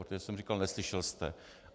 Protože jsem říkal - neslyšel jste?